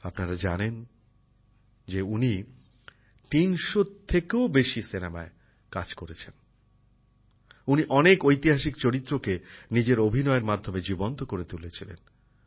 আপনারা জানেন যে উনি ৩০০ থেকেও বেশি সিনেমায় কাজ করেছেন উনি অনেক ঐতিহাসিক চরিত্রকে নিজের অভিনয়ের মাধ্যমে জীবন্ত করে তুলেছিলেন